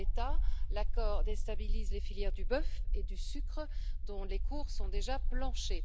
En l'état, l'accord déstabilise les filières du bœuf et du sucre, dont les cours sont déjà plancher.